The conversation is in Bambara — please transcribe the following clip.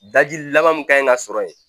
Daji laban min ka ɲi ka sɔrɔ yen